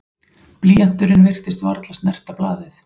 Blýanturinn virtist varla snerta blaðið.